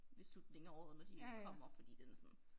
Ved slutningen af året når de kommer fordi den er sådan